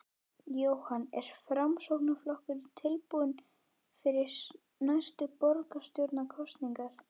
Jóhann: Er Framsóknarflokkurinn tilbúinn fyrir næstu borgarstjórnarkosningar?